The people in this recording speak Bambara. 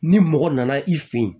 Ni mɔgɔ nana i fɛ yen